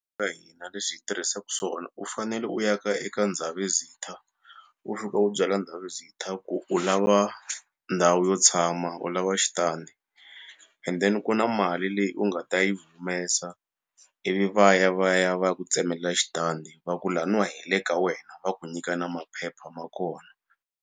Ka hina leswi hi tirhisaku swona u fanele u ya ka eka Ndabezitha u fika u byela Ndabezitha ku u lava ndhawu yo tshama u lava xitandi endeni ku na mali leyi u nga ta yi humesa ivi va ya va ya va ya ku tsemelela xitandi va ku laniwa hi le ka wena va ku nyika na maphepha ma kona.